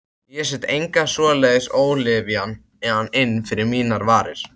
Ég set enga svoleiðis ólyfjan inn fyrir mínar varir.